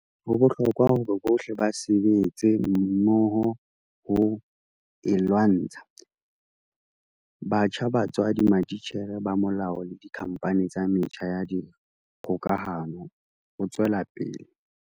"Ho bohlokwa hore bohle ba sebetse mmoho ho e lwantsha - batjha, batswadi, matitjhere, ba molao le dikhampani tsa metjha ya kgokahano," o tswela pele.